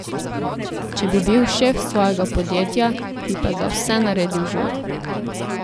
Če bi bil šef svojega podjetja, bi pa za vse naredil žur.